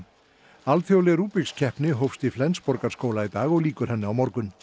alþjóðleg Rubiks keppni hófst í Flensborgarskóla í dag og lýkur henni á morgun